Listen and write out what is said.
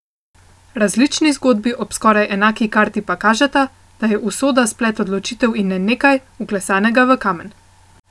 Različni zgodbi ob skoraj enaki karti pa kažeta, da je usoda splet odločitev in ne nekaj, vklesanega v kamen.